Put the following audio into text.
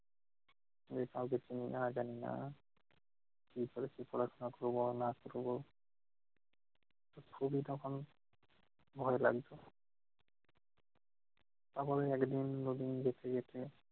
এভাবে চিনি না জানি না কিভাবে কী পড়াশোনা করবো না করবো! খুবই তখন ভয় লাগছে। তারপরে একদিন নতুন দেখতে